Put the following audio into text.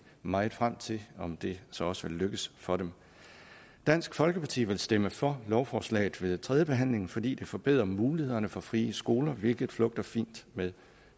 meget frem til at se om det så også vil lykkes for dem dansk folkeparti vil stemme for lovforslaget ved tredjebehandlingen fordi det forbedrer mulighederne for frie skoler hvilket flugter fint med